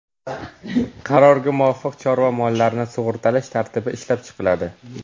Qarorga muvofiq, chorva mollarini sug‘urtalash tartibi ishlab chiqiladi.